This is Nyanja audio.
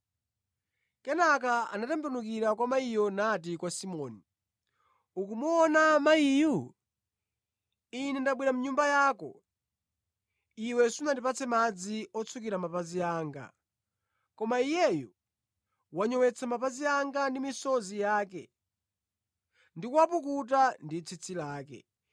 Kenaka anatembenukira kwa mayiyo nati kwa Simoni, “Ukumuona mayiyu? Ine ndabwera mʼnyumba yako. Iwe sunandipatse madzi otsukira mapazi anga, koma iyeyu wanyowetsa mapazi anga ndi misozi yake ndi kuwapukuta ndi tsitsi lake.